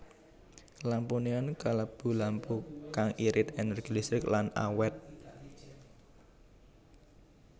Lampu neon kalebu lampu kang irit énérgi listrik lan awét